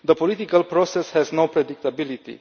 The political process has no predictability.